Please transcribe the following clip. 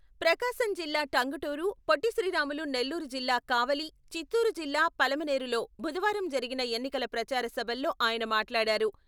ప్రకాశం జిల్లా టంగుటూరు, పొట్టి శ్రీరాములు నెల్లూరు జిల్లా కావలి, చిత్తూరు జిల్లా పలమనేరులో బుధవారం జరిగిన ఎన్నికల ప్రచార సభల్లో ఆయన మాట్లాడారు.